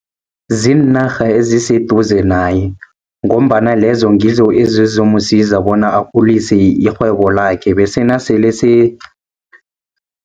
Ziinarha eziseduze naye, ngombana lezo ngizo ezizomsiza bona akhulise irhwebo lakhe bese nasele